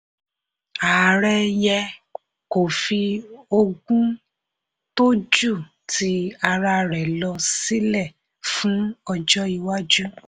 ààrẹ yẹ kó fi ogún tó jù ti ara rẹ̀ lọ sílẹ fún ọjọ́ iwájú.